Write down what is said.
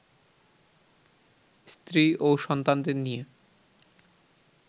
স্ত্রী ও সন্তানদের নিয়ে